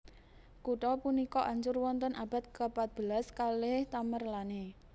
Kutha punika ancur wonten abad kepatbelas kalih Tamerlane